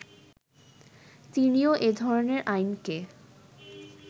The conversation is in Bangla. তিনিও এ ধরনের আইনকে